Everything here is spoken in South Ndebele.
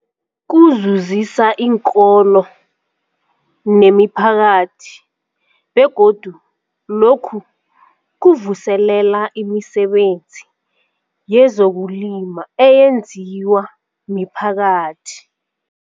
Kuzuzisa iinkolo nemiphakathi begodu lokhu kuvuselela imisebenzi yezokulima eyenziwa miphakathi.